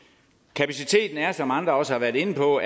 kapaciteten er som andre også har været inde på